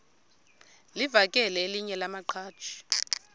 livakele elinye lamaqhaji